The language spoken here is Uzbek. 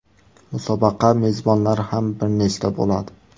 Musobaqa mezbonlari ham bir nechta bo‘ladi.